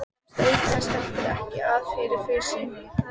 Kemst auk þess heldur ekki að fyrir fussi